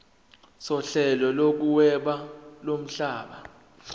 sohlelo lokuhweba lomhlaba